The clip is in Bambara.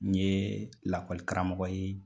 N ɲe lakɔlikaramɔgɔ ye